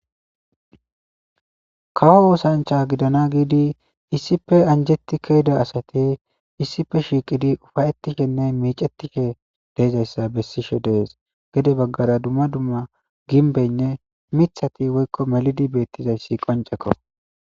Kawo osancha gidana gidi issippe angeti keyida asay issippe shiqidi uffayetishenne deyizzaysa besishe dees gede bagara dumma dumma ginbeynne mithati melidi betizayssi qoncekko